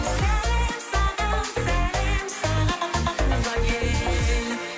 сәлем саған сәлем саған туған ел